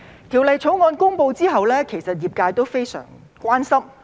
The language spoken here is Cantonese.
《條例草案》公布後，其實業界非常關心。